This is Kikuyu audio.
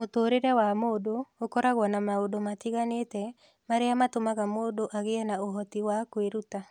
Mũtũũrĩre wa mũndũ ũkoragwo na maũndũ matiganĩte marĩa matũmaga mũndũ agĩe na ũhoti wa kwĩruta.